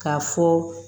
K'a fɔ